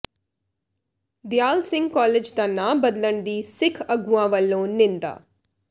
ਦਿਆਲ Singh college ਦਾ ਨਾਂ ਬਦਲਣ ਦੀ ਸਿੱਖ ਆਗੂਆਂ ਵੱਲੋਂ ਨਿੰਦਾ